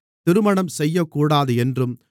திருமணம் செய்யக்கூடாது என்றும்